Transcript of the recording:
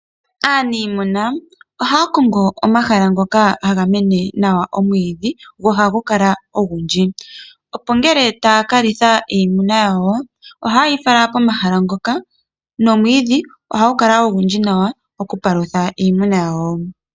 Aanimuna ohaya kongo omahala ngoka haga mene nawa omwiidhi, go ohagu kala ogundji, opo ngele taya kalitha iimuna yawo, ohaye yi fala komahala ngoka, nomwiidhi ohagu kala ogundji nokupalutha iimuna yawo.